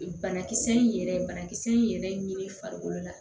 Banakisɛ in yɛrɛ banakisɛ in yɛrɛ ye nin ye farikolo la